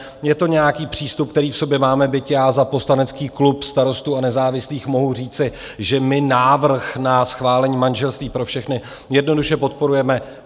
Je to nějaký přístup, který v sobě máme, byť já za poslanecký klub Starostů a nezávislých mohu říci, že my návrh na schválení manželství pro všechny jednoduše podporujeme.